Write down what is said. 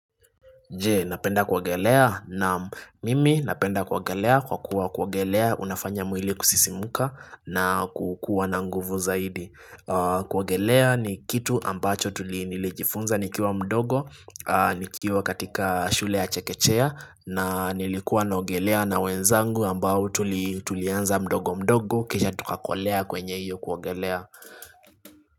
Je, napenda kuogelea naam mimi napenda kuogelea kwa kuwa kuogelea unafanya mwili kusisimuka na kukua na nguvu zaidi kuogelea ni kitu ambacho tulijinilijifunza nikiwa mdogo, nikiwa katika shule ya chekechea na nilikuwa naogelea na wenzangu ambao tulianza mdogo mdogo kisha tukakolea kwenye iyo kuwagelea.